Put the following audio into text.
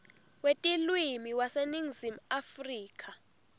wetilwimi waseningizimu afrika